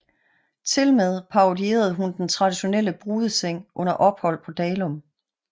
Tilmed parodierede hun den traditionelle brudeseng under ophold på Dalum